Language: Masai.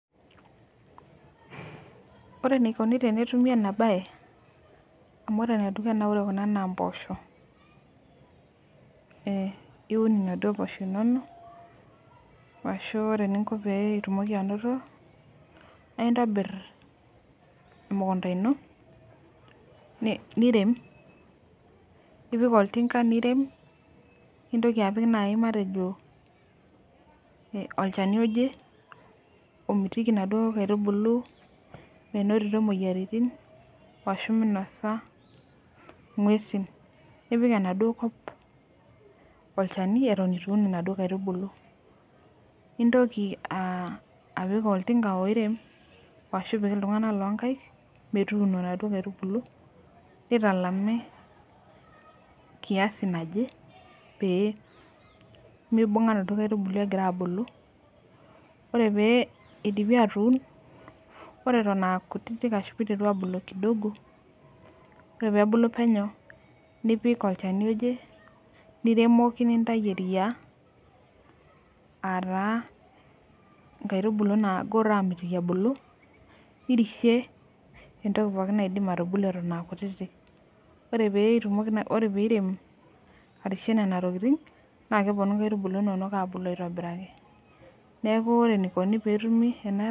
Ore enikuni tenetumi ema bae amu ore ena na mpoosho iun naduo poosho inonok ore eninko peitumoki ainoto na intobir emukunda ino nirem nipik oltimga nirem nintoki apik olchani oje omitiki naduo aitubulu minot moyiaritin ashu minosa ngwesi nioik enaduo kop olchani atan itu un naduo aitubulu, nipik oltinga oirem ashu ipik ltunganak linkaik metuturo naduo aitubulu nitalami pemeibunga naduo aitubulu egira abulu ore peidipi atuun ore atan aa kutitik ore pebulu penyo nipik olchani ojeniremoki nintau eria ataa nkaitibulu namitiki ebulu nirishie entoki pookki naidim atorishie atan aa kutitik ore pirem arishie nona tokitin na keponu nkaitubulu inonok asidanu neaku ore enikuni .